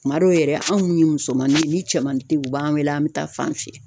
Kuma dɔw yɛrɛ an mun ye musomaninw ye ni cɛman te ye u b'an wele an be taa fan fili